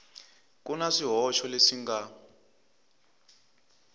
ku na swihoxo leswi nga